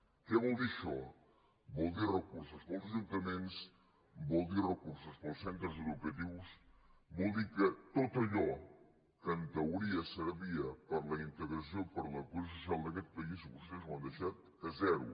què vol dir això vol dir recursos per als ajun·taments vol dir recursos per als centres educatius vol dir que tot allò que en teoria servia per a la integra·ció per a la cohesió social d’aquest país vostès ho han deixat a zero